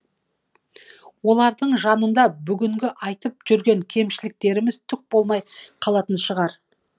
олардың жанында бүгінгі айтып жүрген кемшіліктеріміз түк болмай қалатын шығар